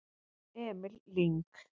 Emil Lyng